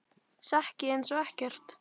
Sekk ég einsog ekkert.